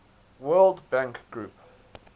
world bank group